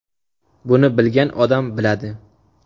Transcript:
Buni bilgan odam biladi.